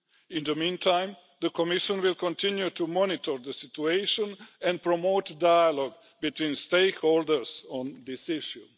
In the meantime, the Commission will continue to monitor the situation and promote dialogue between stakeholders on this issue.